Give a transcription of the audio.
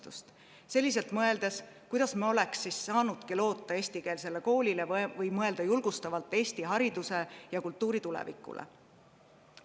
Kuidas sellistes olekski saanud loota eestikeelsele koolile või mõelda julgustavalt Eesti hariduse ja kultuuri tulevikule?